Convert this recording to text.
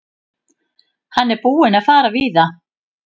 Hann er búinn að fara víða.